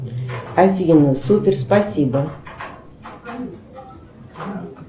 афина супер спасибо